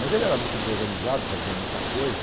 Mas ele era muito desorganizado, fazia muita coisa.